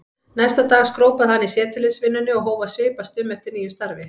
Næsta dag skrópaði hann í setuliðsvinnunni og hóf að svipast um eftir nýju starfi.